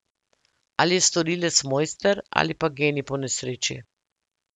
Ali je storilec mojster ali pa genij po nesreči.